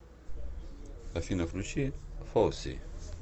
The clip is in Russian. афина включи фоззи